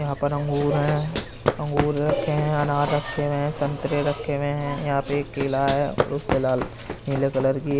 यहाँ पर अंगूर हैं। अंगूर रखे हैं अनार रखे हुए हैं संतरे रखे हुए हैं। यहाँ पे एक केला है। उसपे लाल नीले कलर की --